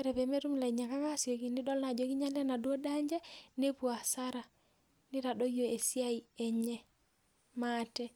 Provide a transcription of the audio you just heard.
Ore peemetum ilainyang'ak aasioki nidol naa ajo kinyiala enaduo daa enche nepuo asara nitadoyio esiai eneye maate